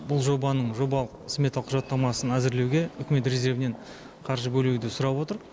бұл жобаның жобалық сметалық құжаттамасын әзірлеуге үкімет резервінен қаржы бөлуді сұрап отыр